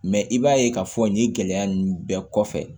Mɛ i b'a ye k'a fɔ nin gɛlɛya ninnu bɛɛ kɔfɛ